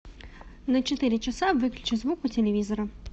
на четыре часа выключи звук у телевизора